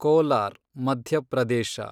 Kolar, Madhya Pradesh